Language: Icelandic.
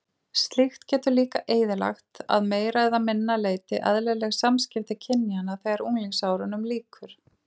Slíkt getur líka eyðilagt að meira eða minna leyti eðlileg samskipti kynjanna þegar unglingsárunum lýkur.